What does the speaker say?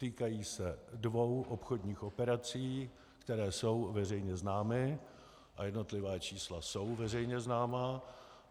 Týkají se dvou obchodních operací, které jsou veřejně známé, a jednotlivá čísla jsou veřejně známá.